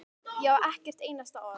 Ég á ekkert einasta orð.